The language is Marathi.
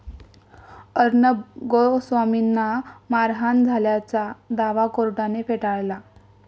अर्णब गोस्वामींना मारहाण झाल्याचा दावा कोर्टाने फेटाळला